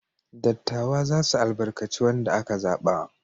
Dattawa za su albarkaci wanda aka zaba.